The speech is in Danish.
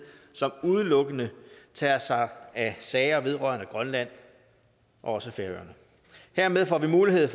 som udelukkende tager sig af sager vedrørende grønland og også færøerne hermed får vi mulighed